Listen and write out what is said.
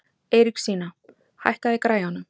Eiríksína, hækkaðu í græjunum.